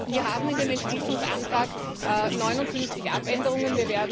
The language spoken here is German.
Wir haben in dem Entschließungsantrag 59 Abänderungen.